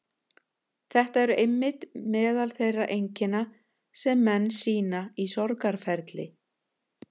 Þetta eru einmitt meðal þeirra einkenna sem menn sýna í sorgarferli.